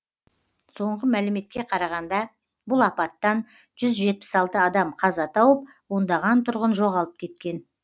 соңғы мәліметке қарағанда бұл апаттан жүз жетпіс алты адам қаза тауып ондаған тұрғын жоғалып кеткен